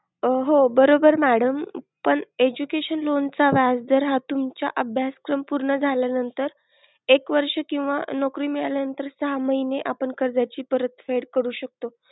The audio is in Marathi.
हो, बरोबर madam पण education loan चा व्याज दर हा तुमच्या अभ्यास क्रम पूर्ण झाल्यानंतर एक वर्ष किंवा नोकरी मिळाल्यानंतर सहा महिने आपण कर्जाची परत फेड करू शकतो.